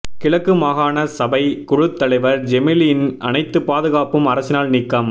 கிழக்கு மாகான சபை குழுத் தலைவர் ஜெமீலின் அனைத்து பாதுகாப்பும் அரசினால் நீக்கம்